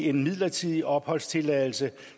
en midlertidig opholdstilladelse